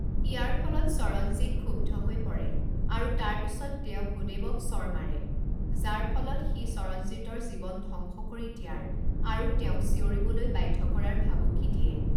ইয়াৰ ফলত সৰনজীত ক্ষুব্ধ হৈ পৰে আৰু তাৰ পিছত তেওঁ ভূধেৱক চৰ মাৰে, যাৰ ফলত সি সৰনজীতৰ জীৱন ধ্বংস কৰি দিয়াৰ আৰু তেওঁক চিঞৰিবলৈ বাধ্য কৰাৰ ভাবুকি দিয়ে।